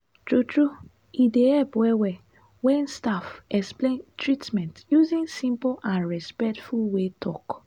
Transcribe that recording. true true e dey help well well when staff explain treatment using simple and respectful way talk.